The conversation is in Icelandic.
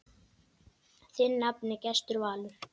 Þinn nafni, Gestur Valur.